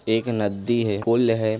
एक नदी है पुल है।